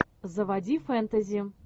заводи фэнтези